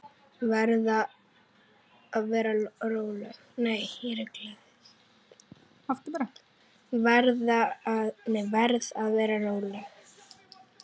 Verð að vera róleg.